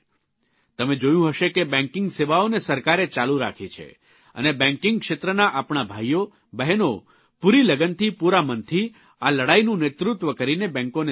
તમે જોયું હશે કે બેંકીંગ સેવાઓને સરકારે ચાલુ રાખી છે અને બેંકીંગ ક્ષેત્રના આપણા ભાઇઓ બહેનો પૂરી લગનથી પૂરા મનથી આ લડાઇનું નેતૃત્વ કરીને બેંકોને સંભાળે છે